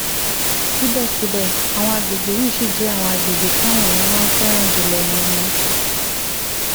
síbẹ̀síbẹ̀ àwọn àgbègbè yìí ṣì jẹ́ àwọn àgbègbè táwọn èèyàn máa ń fẹ́ràn jù lọ ní ní